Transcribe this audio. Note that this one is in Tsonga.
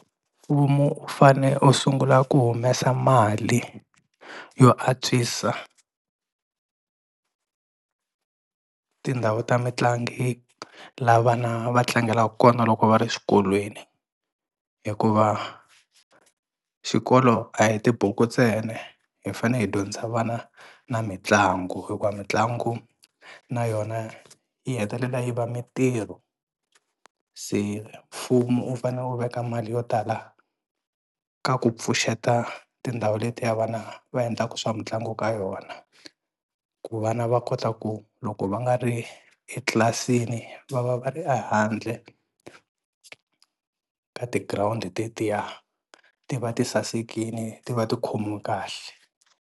Mfumo u fane u sungula ku humesa mali yo a antswisa tindhawu ta mitlangi la vana va tlangelaka kona loko va ri xikolweni, hikuva xikolo a hi tibuku ntsena hi fanele hi dyondzisa vana na mitlangu hikuva mitlangu na yona yi hetelela yi va mitirho, se mfumo wu fane wu veka mali yo tala ka ku pfuxeta tindhawu letiya vana va endlaka swa mitlangu ka yona ku vana va kota ku loko va nga ri etlilasini va va va ri ehandle ka tigirawundi letiya ti va ti sasekile ti va ti khomiwe kahle.